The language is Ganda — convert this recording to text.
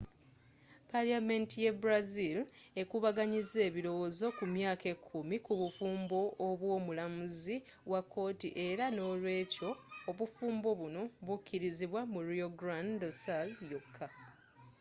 paliyamenti ye brazil ekubaganyizza ebilowozo ku myaka ekumi ku bufumbo obwo mulamuzi wa kooti era n'olwekyo obufumbo buno bukilizibwa mu rio grande do sul yoka